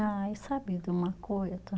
Ai, sabe de uma coisa?